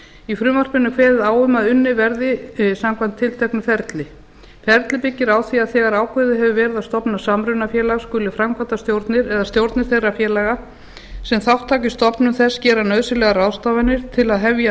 í frumvarpinu er kveðið á um að unnið verði samkvæmt tilteknu ferli ferlið byggir á því að þegar ákveðið hefur verið að stofna samrunafélag skuli framkvæmdastjórnir eða stjórnir þeirra félaga sem þátt taka í stofnun þess gera nauðsynlegar ráðstafanir til að hefja